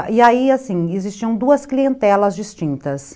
E aí, assim, existiam duas clientelas distintas.